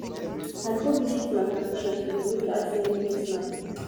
i go visit my plantation today wetin i see make me smile